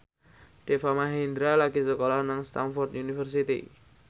Deva Mahendra lagi sekolah nang Stamford University